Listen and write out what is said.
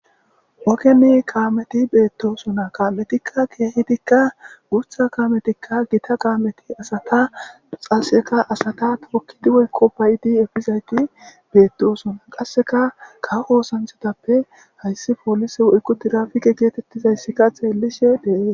Ogen kaameti beetosona kaametika keehidi guutha kaameti Gita kaameti asata qaseka asata tookidi woyko ba'idi epizayti beetosona qaseka kawo oosanchatappe haysi polise woyko tirapike geetetizaysika xeelishe de'ees.